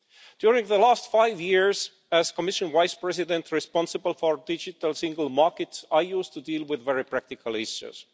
During the last five years as Commission Vice President responsible for the digital single market, I used to deal with very practical issues.